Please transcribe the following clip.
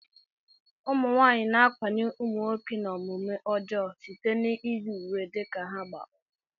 Ụmụnwaanyị na-ákwànye ụmụnwoke n'omume ọjọọ site n'iyi uwe dị ka ha gba ọtọ